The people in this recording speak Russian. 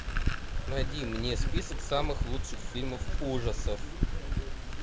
найди мне список самых лучших фильмов ужасов